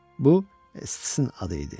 Bu, s-in adı idi.